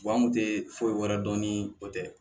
an kun te foyi wɛrɛ dɔn ni o tɛ